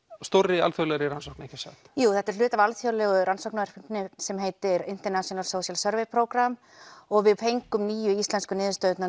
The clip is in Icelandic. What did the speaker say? stórri alþjóðlegri rannsókn ekki satt jú þetta er hluti af alþjóðlegu rannsóknarverkefni sem heitir International social service og við fengum nýju íslensku niðurstöðurnar